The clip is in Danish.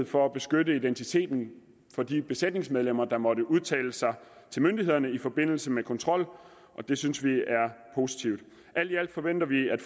for at beskytte identiteten af de besætningsmedlemmer der måtte udtale sig til myndighederne i forbindelse med kontrol det synes vi er positivt alt i alt forventer vi at